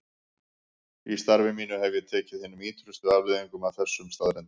Í starfi mínu hef ég tekið hinum ýtrustu afleiðingum af þessum staðreyndum.